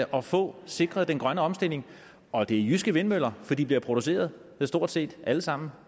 at få sikret den grønne omstilling og det er jyske vindmøller for de bliver produceret stort set alle sammen